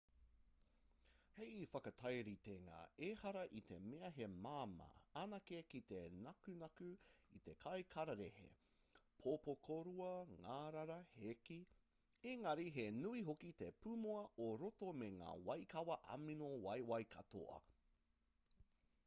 hei whakatairitenga ehara i te mea he māmā anake ki te nakunaku i te kai kararehe pōpokorua ngārara hēkī engari he nui hoki te pūmua o roto me ngā waikawa amino waiwai katoa